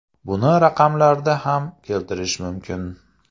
Buni raqamlarda ham keltirishim mumkin.